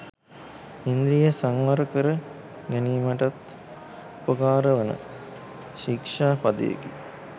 ඉන්ද්‍රිය සංවර කර ගැනීමටත් උපකාරවන ශික්‍ෂා පදයකි.